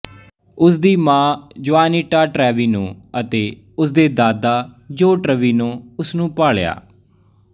ਉਸ ਦੀ ਮਾਂ ਜੁਆਨੀਟਾ ਟ੍ਰੇਵਿਨੋ ਅਤੇ ਉਸ ਦੇ ਦਾਦਾ ਜੋ ਟ੍ਰੇਵਿਨੋਨੇ ਉਸਨੂੰ ਪਾਲਿਆ